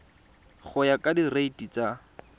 go ya ka direiti tsa